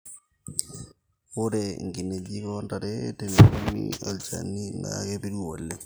ore nkinenjik o ntare teneremi olchani naa kepiru oleng